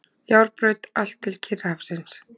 Járnbraut allt til Kyrrahafsins.